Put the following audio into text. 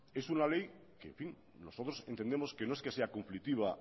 es una ley que nosotros entendemos que no es que sea conflictiva